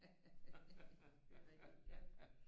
Haha det er rigtig ja